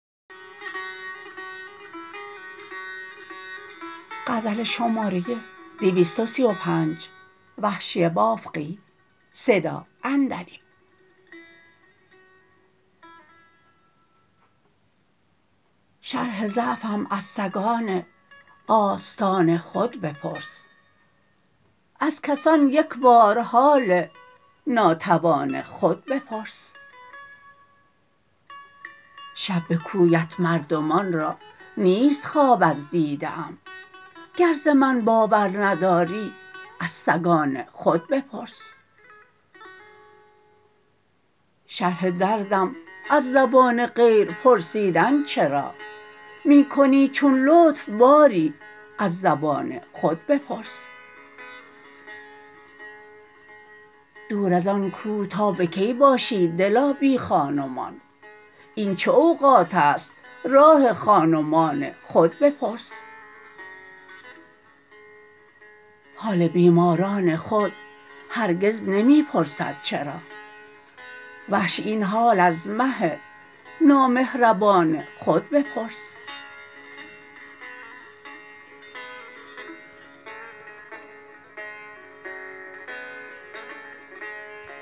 شرح ضعفم از سگان آستان خود بپرس از کسان یک بار حال ناتوان خود بپرس شب به کویت مردمان را نیست خواب از دیده ام گر زمن باور نداری از سگان خود بپرس شرح دردم از زبان غیر پرسیدن چرا می کنی چون لطف باری از زبان خود بپرس دور از آن کو تا به کی باشی دلا بی خان ومان این چه اوقاتست راه خان و مان خود بپرس حال بیماران خود هرگز نمی پرسد چرا وحشی این حال از مه نامهربان خود بپرس